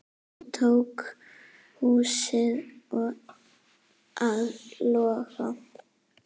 Svo tóku húsin að loga.